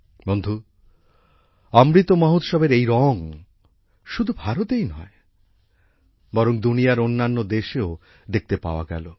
বন্ধু অমৃত মহোৎসবের এই রঙ শুধু ভারতেই নয় বরং দুনিয়ার অন্যান্য দেশেও দেখতে পাওয়া গেল